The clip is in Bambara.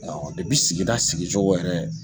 sigida sigi cogo yɛrɛ